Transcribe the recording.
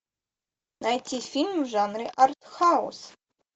найти фильм в жанре артхаус